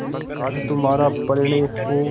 आज हमारा परिणय हो